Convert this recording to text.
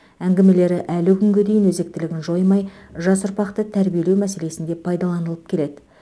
әңгімелері әлі күнге дейін өзектілігін жоймай жас ұрпақты тәрбиелеу мәселесінде пайдаланылып келеді